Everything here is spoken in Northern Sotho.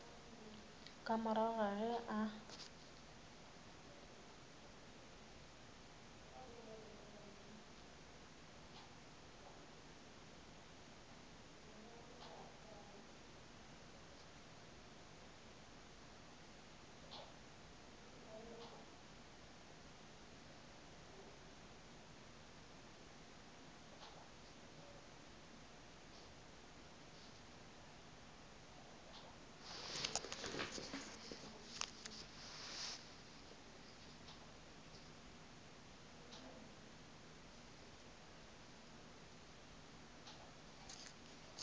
ka morago ga ge a